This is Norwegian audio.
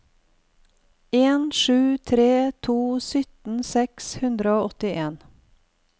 en sju tre to sytten seks hundre og åttien